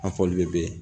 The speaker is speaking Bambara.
An faw de be yen